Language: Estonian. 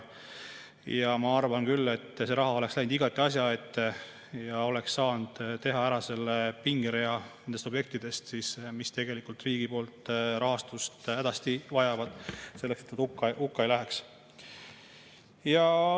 Ma arvan küll, et see raha oleks läinud igati asja ette ja oleks saanud teha ära selle pingerea objektidest, mis tegelikult riigi rahastust hädasti vajavad selleks, et nad hukka ei läheks.